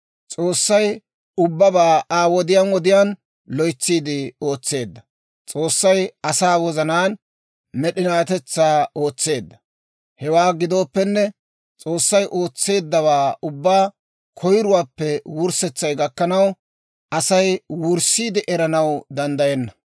S'oossay ubbabaa Aa wodiyaan wodiyaan loytsiide ootseedda. S'oossay asaa wozanaan med'inatetsaa ootseedda; hewaa gidooppenne, S'oossay ootseeddawaa ubbaa koyiruwaappe wurssetsay gakkanaw, Asay wurssiide eranaw danddayenna.